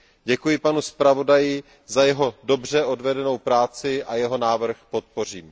Děkuji panu zpravodaji za jeho dobře odvedenou práci a jeho návrh podpořím.